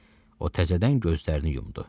O təzədən gözlərini yumdu.